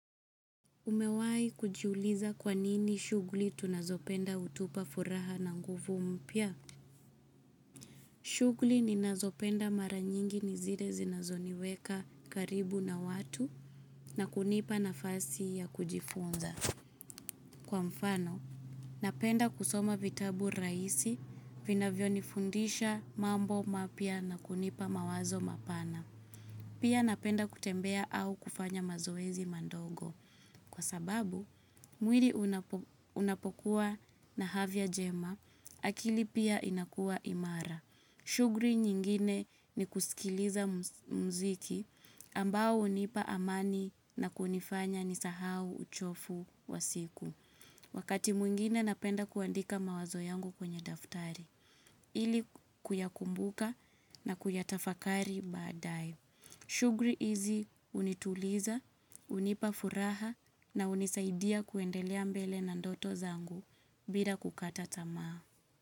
Umewai kujiuliza kwanini shughuli tunazopenda utupa furaha na nguvu mpya? Shughuli ninazopenda mara nyingi ni zile zinazoniweka karibu na watu na kunipa nafasi ya kujifunza. Kwa mfano, napenda kusoma vitabu raisi vina vyo nifundisha mambo mapya na kunipa mawazo mapana. Pia napenda kutembea au kufanya mazoezi madogo. Kwa sababu, mwili unapokuwa na afya jema, akili pia inakuwa imara. Shughuli nyingine ni kusikiliza mziki ambao unipa amani na kunifanya nisahau uchofu wa siku. Wakati mwingine napenda kuandika mawazo yangu kwenye daftari, ili kuyakumbuka na kuyatafakari baadae. Shughuli hizi unituliza, unipa furaha na unizaidia kuendelea mbele na ndoto zangu bila kukata tamaa.